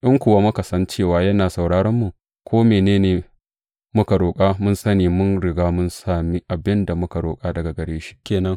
In kuwa muka san cewa yana sauraranmu, ko mene ne muka roƙa, mun sani, mun riga mun sami abin da muka roƙa daga gare shi ke nan.